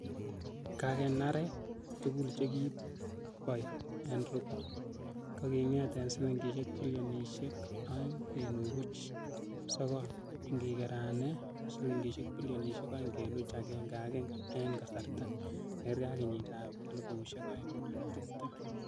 Kakeranek tugul chekiboi n robo, koking'et en silingisiek bilionisiek o'eng kenuch buch sogol, ingigeran ak silingisiek bilionisiek o'eng kenuch agenge agenge en kasarata nekerge en kenyitab elfusiek o'eng ak tibtem.